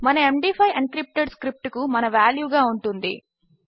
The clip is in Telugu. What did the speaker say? మన ఎండీ5 ఎన్క్రిప్టెడ్ స్క్రిప్ట్ కు మన వాల్యూగా ఉంటుంది